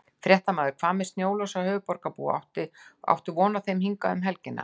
Fréttamaður: Hvað með snjólausa höfuðborgarbúa, áttu von á þeim hingað um helgina?